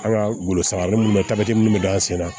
An ka golosagalen mun bɛ minnu bɛ d'an sen na